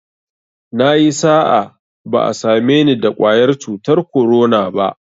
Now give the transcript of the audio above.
Nayi sa'a, ba'a same ni da ƙwayar cutar korona ba